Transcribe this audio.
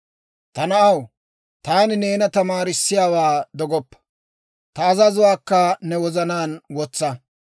Ta na'aw, taani neena tamaarissiyaawaa dogoppa; ta azazotuwaakka ne wozanaan wotsa.